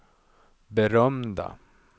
berömda